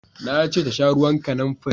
Na ce ta sha ruwan kanamfari!